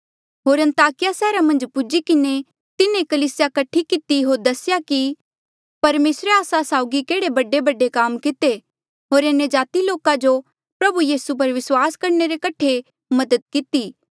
होर अन्ताकिया सैहरा मन्झ पुज्ही किन्हें तिन्हें कलीसिया कठी किती होर दसेया कि परमेसरे आस्सा साउगी केहड़े बडेबडे काम किते होर अन्यजाति लोका जो प्रभु यीसू पर विस्वास करणे रे कठे मदद किती